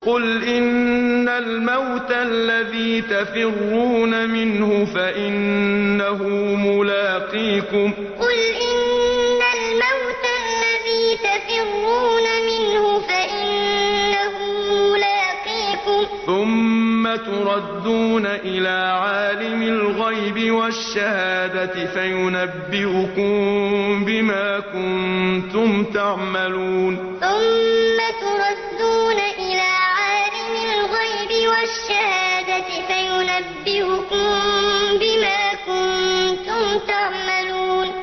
قُلْ إِنَّ الْمَوْتَ الَّذِي تَفِرُّونَ مِنْهُ فَإِنَّهُ مُلَاقِيكُمْ ۖ ثُمَّ تُرَدُّونَ إِلَىٰ عَالِمِ الْغَيْبِ وَالشَّهَادَةِ فَيُنَبِّئُكُم بِمَا كُنتُمْ تَعْمَلُونَ قُلْ إِنَّ الْمَوْتَ الَّذِي تَفِرُّونَ مِنْهُ فَإِنَّهُ مُلَاقِيكُمْ ۖ ثُمَّ تُرَدُّونَ إِلَىٰ عَالِمِ الْغَيْبِ وَالشَّهَادَةِ فَيُنَبِّئُكُم بِمَا كُنتُمْ تَعْمَلُونَ